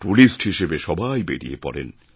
tourist হিসেবে সবাই বেড়িয়ে পড়েন